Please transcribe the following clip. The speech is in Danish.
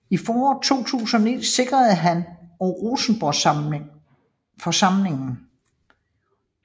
I foråret 2009 sikrede han og Rosenborgsamlingen for samlingen